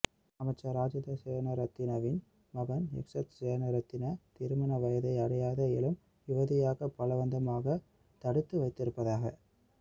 அமைச்சர் ராஜித சேனாரத்னவின் மகன் எக்சத் சேனாரத்ன திருமண வயதை அடையாத இளம் யுவதியை பலவந்தமாக தடுத்து வைத்திருப்பதாக